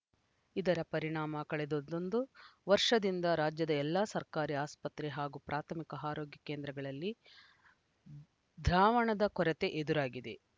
ಇದರ ಪರಿಣಾಮ ಕಳೆದೊಂದು ವರ್ಷದಿಂದ ರಾಜ್ಯದ ಎಲ್ಲಾ ಸರ್ಕಾರಿ ಆಸ್ಪತ್ರೆ ಹಾಗೂ ಪ್ರಾಥಮಿಕ ಆರೋಗ್ಯ ಕೇಂದ್ರಗಳಲ್ಲಿ ದ್ರಾವಣದ ಕೊರತೆ ಎದುರಾಗಿದೆ